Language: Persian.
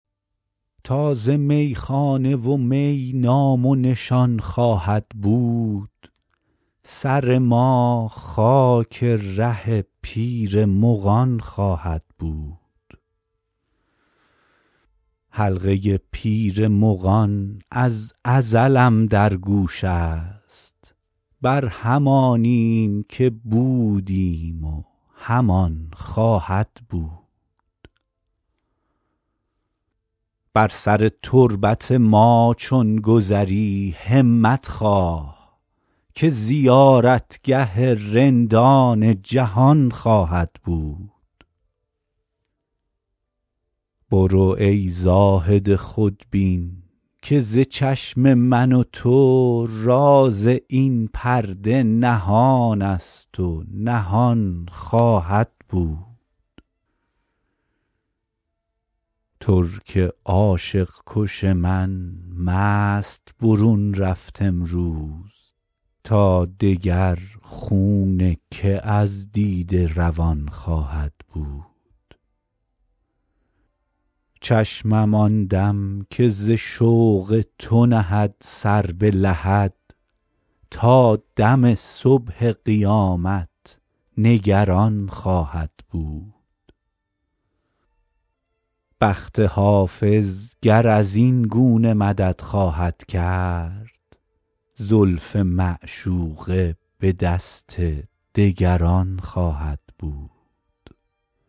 تا ز میخانه و می نام و نشان خواهد بود سر ما خاک ره پیر مغان خواهد بود حلقه پیر مغان از ازلم در گوش است بر همانیم که بودیم و همان خواهد بود بر سر تربت ما چون گذری همت خواه که زیارتگه رندان جهان خواهد بود برو ای زاهد خودبین که ز چشم من و تو راز این پرده نهان است و نهان خواهد بود ترک عاشق کش من مست برون رفت امروز تا دگر خون که از دیده روان خواهد بود چشمم آن دم که ز شوق تو نهد سر به لحد تا دم صبح قیامت نگران خواهد بود بخت حافظ گر از این گونه مدد خواهد کرد زلف معشوقه به دست دگران خواهد بود